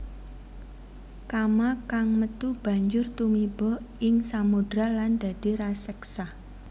Kama kang metu banjur tumiba ing samodra lan dadi raseksa